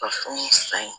Ka fɛnw san